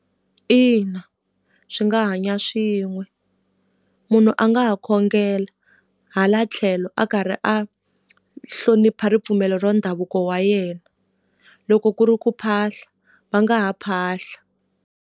Ina, swi nga hanya swin'we. Munhu a nga ha khongela hala tlhelo a karhi a hlonipha ripfumelo ra ndhavuko wa yena. Loko ku ri ku phahla, va nga ha phahla.